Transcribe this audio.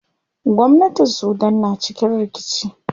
Gwamnatin sudan na cikin rikici.